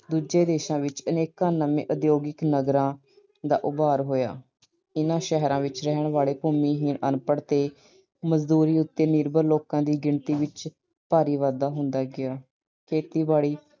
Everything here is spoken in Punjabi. ਦੂਜੇ ਦੇਸ਼ਾਂ ਵਿੱਚ ਅਨੇਕਾਂ ਨਵੇਂ ਉਦਯੋਗਿਕ ਨਗਰਾਂ ਦਾ ਉਭਾਰ ਹੋਇਆ। ਇਹਨਾਂ ਸ਼ਹਿਰਾਂ ਵਿੱਚ ਰਹਿਣ ਵਾਲੇ ਭੂਮੀਹੀਣ ਅਨਪੜ੍ਹ ਅਤੇ ਮਜ਼ਦੂਰੀ ਉਤੇ ਨਿਰਭਰ ਲੋਕਾਂ ਦੀ ਗਿਣਤੀ ਵਿੱਚ ਭਾਰੀ ਵਾਧਾ ਹੁੰਦਾ ਗਿਆ। ਖੇਤੀਬਾੜੀ